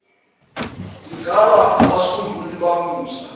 singaba abasunguli bamasu